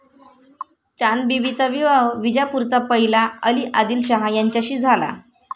चांदबिबीचा विवाह विजापूरचा पहिला अली आदिलशाह याच्याशी झाला.